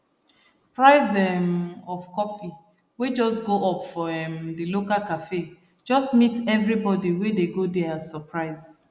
price um of coffee wey just go up for um the local cafe just meet everybody wey dey go there as surprise